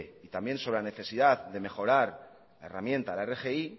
y también sobre la necesidad de mejorarla herramienta la rgi